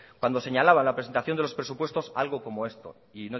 cuando señalaba en la presentación de los presupuestos algo como esto y